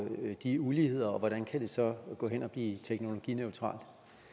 de uligheder og hvordan kan det så gå hen og blive teknologineutralt